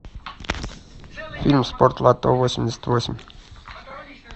фильм спортлото восемьдесят восемь